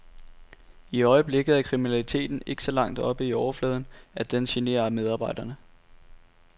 I øjeblikket er kriminaliteten ikke så langt oppe i overfladen, at den generer medarbejderne.